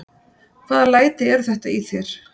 Hvaða læti eru þetta í þér!